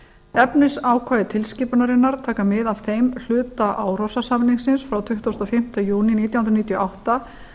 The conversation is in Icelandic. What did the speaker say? efnisákvæði tilskipunarinnar taka mið af þeim hluta árósa samningsins frá tuttugasta og fimmta júní nítján hundruð níutíu og átta